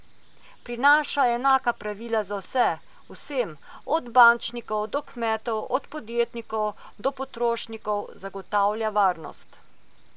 Prinaša enaka pravila za vse, vsem, od bančnikov do kmetov, od podjetnikov do potrošnikov, zagotavlja varnost.